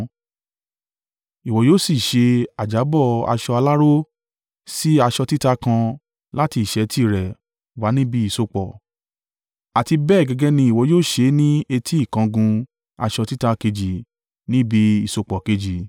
Ìwọ yóò ṣì ṣe ajábó aṣọ aláró sí aṣọ títa kan láti ìṣẹ́tí rẹ̀ wá níbi ìsopọ̀, àti bẹ́ẹ̀ gẹ́gẹ́ ni ìwọ yóò ṣe ni etí ìkangun aṣọ títa kejì, ni ibi ìsopọ̀ kejì.